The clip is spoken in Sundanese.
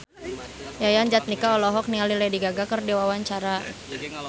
Yayan Jatnika olohok ningali Lady Gaga keur diwawancara